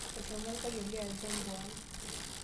Eshomo orpayian le Adhiambo ang.